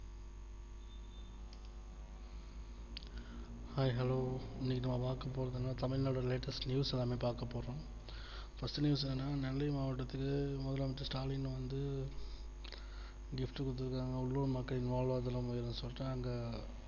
Hi Hello இன்னிக்கி நம்ம பாக்க போறது என்னன்னா Tamilnadu latest news எல்லாமே பார்க்க போறோம் first news என்னன்னா நெல்லை மாவட்டத்தில் முதலமைச்சர் ஸ்டாலின் வந்து gift கொடுத்து இருக்காங்க உள்ளூர் மக்களின் வாழ்வாதாரம் உயரும்னு சொல்லிட்டு அங்க